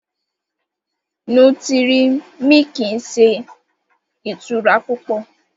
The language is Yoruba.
Nútírì-míkí n sẹ̀ itura pupọ̀